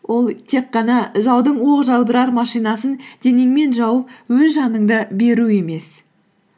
ол тек қана жаудың оқ жаудырар машинасын денеңмен жауып өз жаныңды беру емес